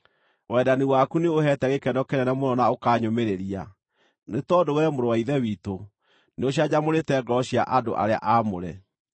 Wendani waku nĩũheete gĩkeno kĩnene mũno na ũkanyũmĩrĩria, nĩ tondũ wee, mũrũ wa Ithe witũ, nĩũcanjamũrĩte ngoro cia andũ arĩa aamũre.